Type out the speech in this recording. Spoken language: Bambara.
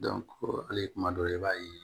hali kuma dɔ la i b'a ye